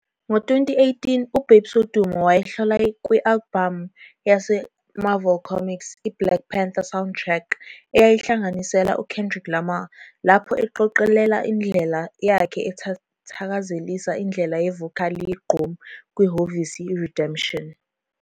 Ngo-2018, uBabes Wodumo wayehlola kwi-albhamu yaseMarvel Comics, i-"Black Panther- Soundtrack album" eyayinhlanganisela uKendrick Lamar, lapho eqoqelela indlela yakhe ethakazelisa indlela yevokali yegqom kwi-hhovisi "Redemption".